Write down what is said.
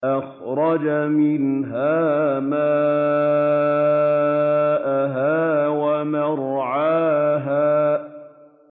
أَخْرَجَ مِنْهَا مَاءَهَا وَمَرْعَاهَا